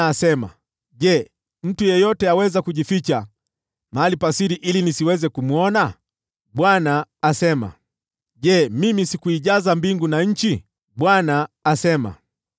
Je, mtu yeyote aweza kujificha mahali pa siri ili nisiweze kumwona?” Bwana asema. “Je, mimi sikuijaza mbingu na nchi?” Bwana asema.